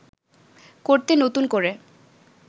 করতে নতুন করে